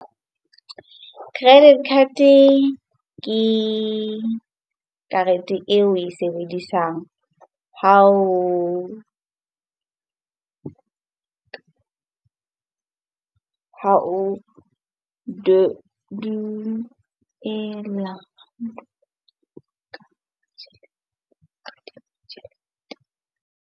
Credit card-e ke karete eo oe sebedisang ha duela .